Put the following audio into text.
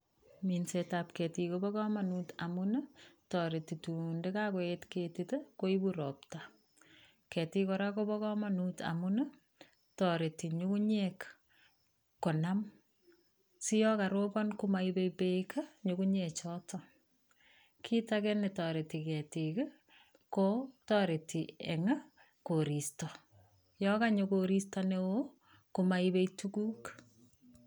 Minset ab ketik kobo komonut amun nii toreti korun indo kokoet ketik koibu ropta , ketik koraa kobo komonut amun nii toreti nyungunyek konam siyon koropo komoibe beek nyunmgunyek choton, kit age netoreti ketik ko toreti en koristo yon konyoo koristo neo komoibe tukuk.